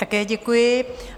Také děkuji.